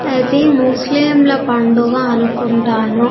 అది ముస్లింల పండుగ అనుకుంటాను.